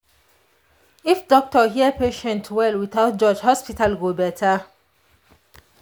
if doctor hear patient well without judge hospital go better.